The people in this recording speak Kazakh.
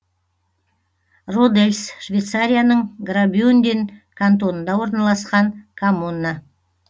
родельс швейцарияның граубюнден кантонында орналасқан коммуна